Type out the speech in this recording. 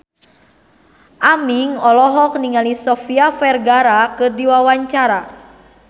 Aming olohok ningali Sofia Vergara keur diwawancara